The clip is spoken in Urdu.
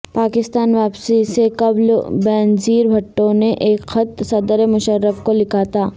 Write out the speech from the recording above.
پاکستان واپسی سے قبل بینظیر بھٹو نے ایک خط صدر مشرف کو لکھا تھا